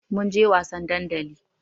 Mun je wasan dandali.